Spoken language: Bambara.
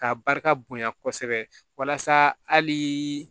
K'a barika bonya kosɛbɛ walasa hali